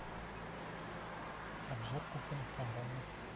обзор кухонных комбайнов